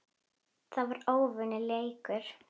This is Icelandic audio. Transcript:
Það var ójafn leikur.